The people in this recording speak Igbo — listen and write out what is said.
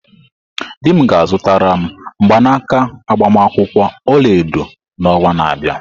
Di m ga-azụtara m mgbanaka agbamakwụkwọ olaedo n'ọnwa na-abịa.